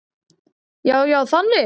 Já, já, þannig.